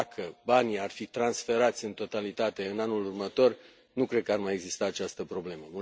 Dacă banii ar fi transferați în totalitate în anul următor, nu cred că ar mai exista această problemă.